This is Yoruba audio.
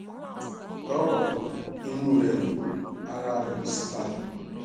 lọrọ kan inú rẹ ò dùn ara rẹ ò sì bàlẹ